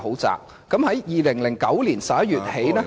自2009年11月起......